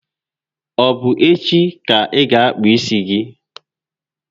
Ọ bụ echi ka ị ga akpụ isi?